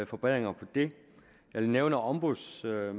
forbedringer af det jeg nævnte ombudsmanden og